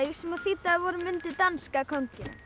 sem þýddi að við vorum undir danska kónginum